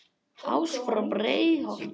ás frá breiðholti